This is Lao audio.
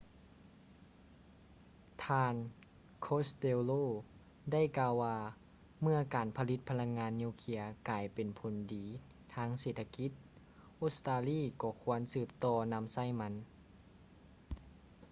ທ່ານ costello ໄດ້ກ່າວວ່າເມື່ອການຜະລິດພະລັງງານນິວເຄຼຍກາຍເປັນຜົນດີທາງເສດຖະກິດ ອົດສະຕາລີກໍຄວນສືບຕໍ່ນຳໃຊ້ມັນ